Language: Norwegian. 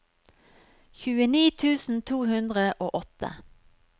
tjueni tusen to hundre og åtte